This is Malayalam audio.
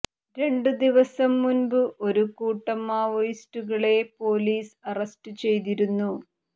രണ്ടു ദിവസം മുന്പ് ഒരു കൂട്ടം മാവോയിസ്റ്റുകളെ പോലീസ് അറസ്റ്റ് ചെയ്തിരുന്നു